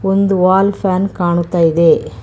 ಒಂದು wall fan ಕಾಣುತ್ತ ಇದೆ.